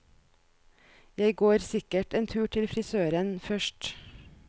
Jeg går sikkert en tur til frisøren først.